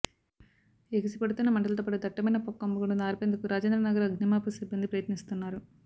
ఎగిసి పడుతున్న మంటలతోపాటు దట్టమైన పొగ కమ్ముకోవడంతో ఆర్పేందుకు రాజేంద్రనగర్ అగ్నిమాపక సిబ్బంది ప్రయత్నిస్తున్నారు